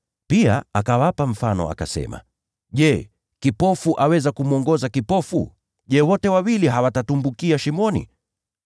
Pia akawapa mfano akasema, “Je, kipofu aweza kumwongoza kipofu? Je, wote wawili hawatatumbukia shimoni?